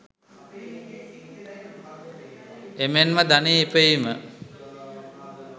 එමෙන්ම ධනය ඉපයීම,